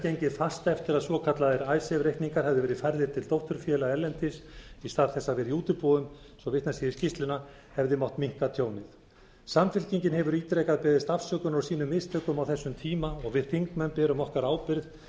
gengið fast eftir að svokallaðir icesave reikningar hefðu verið færðir til dótturfélaga erlendis í stað þess að vera í útibúum svo vitnað sé í skýrsluna hefði mátt minnka tjónið samfylkingin hefur ítrekað beðist afsökunar á sínum mistökum á þessum tíma og við þingmenn berum okkar ábyrgð